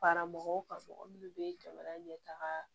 Fara mɔgɔw kan mɔgɔ minnu bɛ jamana ɲɛtaga